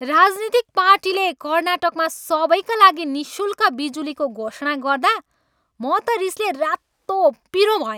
राजनीतिक पार्टीले कर्नाटकमा सबैका लागि निःशुल्क बिजुलीको घोषणा गर्दा म त रिसले रातोपिरो भएँ।